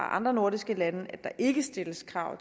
andre nordiske lande at der ikke stilles krav